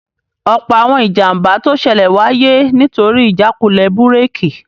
Ọ̀pọ̀ àwọn ìjàmbá tó ṣẹlẹ̀ wáyé nítorí ìjákulẹ̀ búrèkì